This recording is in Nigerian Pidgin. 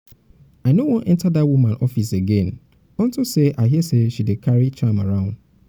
i no wan enter wan enter dat woman office again unto say i hear she dey carry charm around